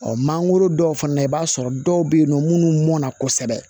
mangoro dɔw fana na i b'a sɔrɔ dɔw bɛ yen nɔ minnu mɔnna kosɛbɛ